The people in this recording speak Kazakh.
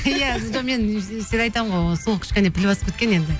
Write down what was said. иә жоқ мен всегда айтамын ғой ол сол кішкене піл басып кеткен енді